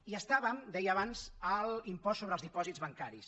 i estàvem ho deia abans en l’impost sobre els dipòsits bancaris